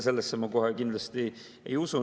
Sellesse ma kohe kindlasti ei usu.